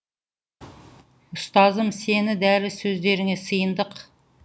ұстазым сенің дәрі сөздеріңе сиындық